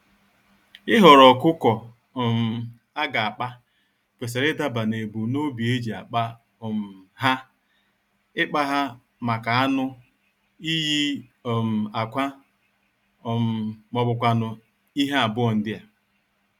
Ịhọrọ ọkụkọ um aga akpa, kwesịrị idaba nebum nobi eji akpa há; ikpa ha màkà anụ, iyi um ákwà um mọbụkwanụ̀ ihe abụọ ndịa.